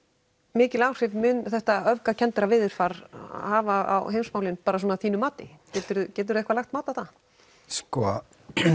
mikil áhrif mun þetta öfgakennda veðurfar hafa á heimsmálin bara svona að þínu mati getur þú eitthvað lagt mat á það svo